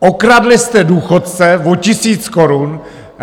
Okradli jste důchodce o tisíc korun!